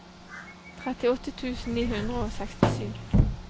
trettiåtte tusen ni hundre og sekstisju